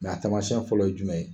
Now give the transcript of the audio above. a tamasiyɛn fɔlɔ ye jumɛn ye.